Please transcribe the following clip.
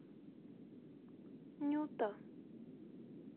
нюта